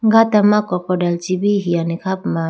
gata ma crocodile chi bi hiyane kha puma.